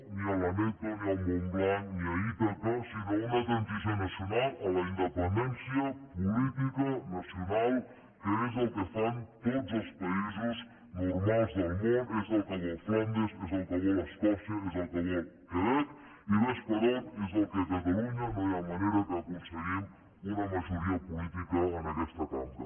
ni a l’aneto ni al montblanc ni a ítaca sinó una transició nacional a la independència política nacional que és el que fan tots els països normals del món és el que vol flandes és el que vol escòcia és el que vol el quebec i vés per on és el que a catalunya no hi ha manera que aconseguim una majoria política en aquesta cambra